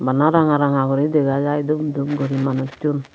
bhana ranga ranga gori dega jai dup dup gori manusun.